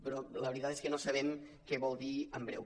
però la veritat és que no sabem què vol dir en breu